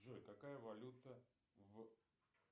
джой какая валюта в